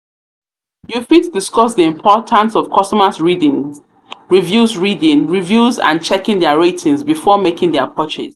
fit discuss di importance of customers reading reviews reading reviews and checking dia ratings before making dia purchase.